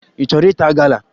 Ị chọrọ ịta gala?